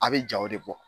A' bɛ jaw de bɔ